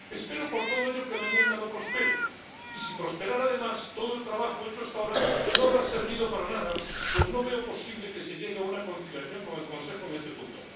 Espero por todo ello que la enmienda no prospere, y si prosperara, además, todo el trabajo hecho hasta ahora no habrá servido para nada pues no veo posible que se llegue a una conciliación con el Consejo en este punto.